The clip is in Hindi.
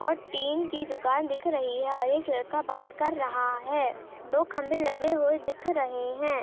--ओर टीन की दुकान दिख रही है और एक लड़का बात कर रहा हैदो खंबे लगे हुए दिख रहे है।